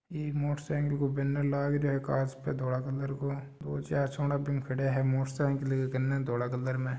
एक motorcycle को banner लाग रो है कांच पर धोल कलर को चार छोरा बीम खड़ा है मोटर साईकिल क कान धोल कलर मे--